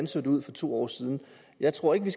så ud for to år siden jeg tror ikke